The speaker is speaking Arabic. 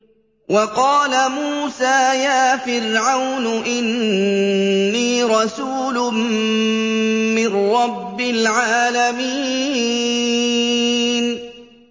وَقَالَ مُوسَىٰ يَا فِرْعَوْنُ إِنِّي رَسُولٌ مِّن رَّبِّ الْعَالَمِينَ